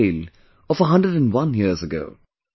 It is a tale of 101 years ago